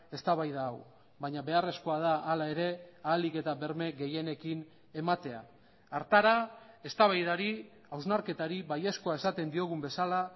eztabaida hau baina beharrezkoa da hala ere ahalik eta berme gehienekin ematea hartara eztabaidari hausnarketari baiezkoa esaten diogun bezala